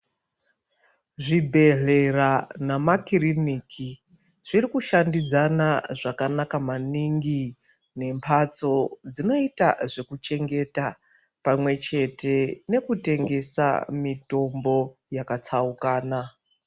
Zvibhedhleya nemakirinika zvirikushandidzana zvakanaka maningi nembatso dzinoita zvekuchengeta pamwechete nekutengesa mitombo yakatsaukana.